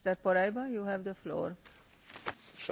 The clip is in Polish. Szanowna Pani Przewodnicząca, Pani Komisarz!